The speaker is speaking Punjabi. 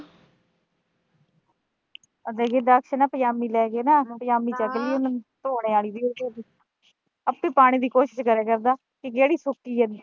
ਅਜਿਹੇ ਚ ਨਾ, ਪਜਾਮੀ ਲੈ ਕੇ ਨਾ ਪਜਾਮੀ ਚੱਕ ਲਈਂ ਉਹਨੂੰ, ਧੋਣੇ ਆਲੀ ਆਪੇ ਪਾਣੇ ਦੀ ਕੋਸ਼ਿਸ਼ ਕਰਿਆ ਕਰਦਾ ਕਿ ਜਿਹੜੀ ਸੁੱਕੀ ਆ ਗੀ।